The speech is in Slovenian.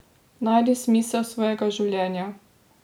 Najdi smisel svojega življenja!